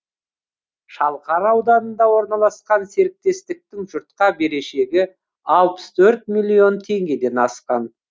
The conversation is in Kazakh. шалқар ауданында орналасқан серіктестіктің жұртқа берешегі алпыс төрт миллион теңгеден асқан